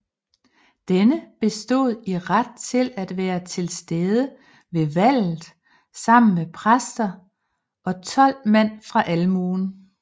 Denne bestod i ret til at være tilstede ved valget sammen med præster og tolv mand fra almuen